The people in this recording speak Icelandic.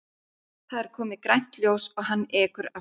Það er komið grænt ljós og hann ekur af stað.